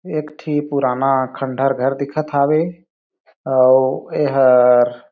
एक ठी पुराना खंडहर घर दिखत हावे अउ ए हर--